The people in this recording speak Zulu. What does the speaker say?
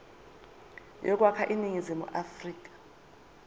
yokwakha iningizimu afrika